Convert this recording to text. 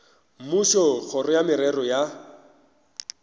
mmušo kgoro ya merero ya